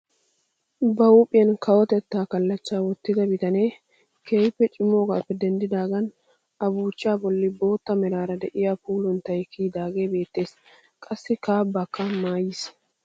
Ba huuphphiyaan kawotettaa kallachchaa wottida bitanee keehippe cimoogappe denddidaagan a buuchchaa bolli bootta meraara de'iyaa puulunttay kiyidaagee beettees. qassi kaabbaakka maayiis.